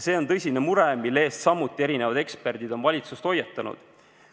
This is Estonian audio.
See on tõsine mure, mille eest samuti eksperdid on valitsust hoiatanud.